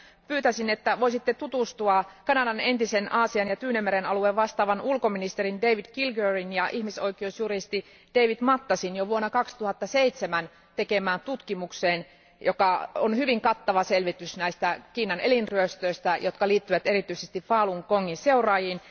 Pyytäisin, että voisitte tutustua Kanadan Aasian ja Tyynenmeren alueesta vastaavan entisen ulkoministerin David Kilgourin ja ihmisoikeusjuristi David Matasin jo vuonna 2007 tekemään tutkimukseen, joka on hyvin kattava selvitys Kiinan elinryöstöistä, jotka liittyvät erityisesti Falun Gongin seuraajiin.